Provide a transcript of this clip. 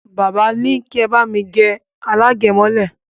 Bàbá li ní kí ẹ bá mi gẹ alágẹ̀mọ́lẹ̀